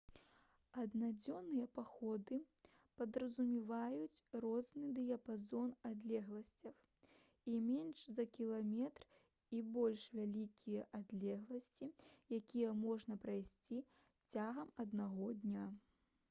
аднадзённыя паходы падразумяваюць розны дыяпазон адлегласцяў і менш за кіламетр і больш вялікія адлегласці якія можна прайсці цягам аднаго дня